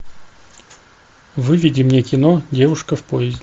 выведи мне кино девушка в поезде